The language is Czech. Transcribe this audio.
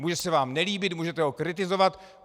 Může se vám nelíbit, můžete ho kritizovat.